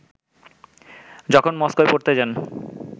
যখন মস্কোয় পড়তে যান